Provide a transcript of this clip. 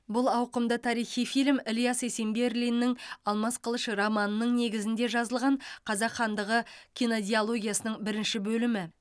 бұл ауқымды тарихи фильм ілияс есенберлиннің алмас қылыш романының негізінде жазылған қазақ хандығы кинодиологиясының бірінші бөлімі